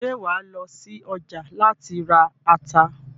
Ṣé wàá lọ sí ọjà láti ra ata?